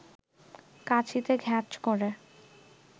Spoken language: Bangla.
কাঁচিতে ঘ্যাঁচ করে